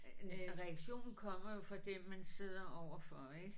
En reaktion kommer jo for den man sidder overfor ik